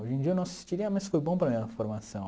Hoje em dia eu não assistiria, mas foi bom para a minha formação.